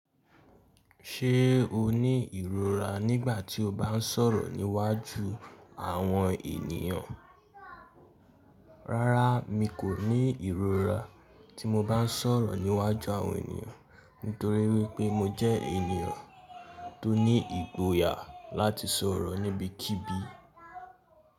Ṣé o ní ìrora nígbà tí o bá ń sọ̀rọ̀ níwájú àwọn ènìyàn? Rárá, mi kò ní ìrora tí mo bá ń sọ̀rọ̀ níwájú àwọn ènìyàn. Nítorí wípé mo jẹ́ ènìyàn tó ní ìgboyà láti sọ̀rọ̀ níbikíbi.